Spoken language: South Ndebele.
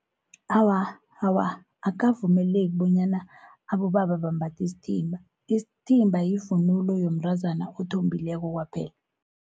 Awa, awa akavumeleki bonyana abobaba bambathi isithimba, isithimba yivunulo yomntazana othombileko kwaphela.